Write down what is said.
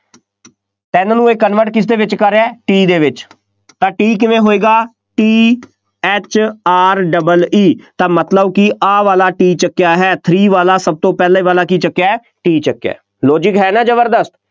ਤਿੰਨ ਨੂੰ ਇਹ convert ਕਿਸਦੇ ਵਿੱਚ ਕਰ ਰਿਹਾ T ਦੇ ਵਿੱਚ, ਤਾਂ T ਕਿਵੇਂ ਹੋਏਗਾ, T H R E E ਤਾਂ ਮਤਲਬ ਕਿ ਆਹ ਵਾਲਾ T ਚੁੱਕਿਆ ਹੈ, three ਵਾਲਾ ਸਭ ਤੋਂ ਪਹਿਲਾਂ ਵਾਲਾ ਕੀ ਚੁੱਕਿਆ ਹੈ, T ਚੁੱਕਿਆ ਹੈ, logic ਹੈ ਨਾ ਜ਼ਬਰਦਸਤ,